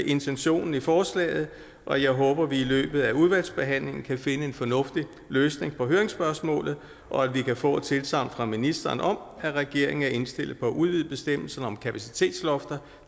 intentionen i forslaget og jeg håber at vi i løbet af udvalgsbehandlingen kan finde en fornuftig løsning på høringsspørgsmålet og at vi kan få et tilsagn fra ministeren om at regeringen er indstillet på at udvide bestemmelserne om kapacitetslofter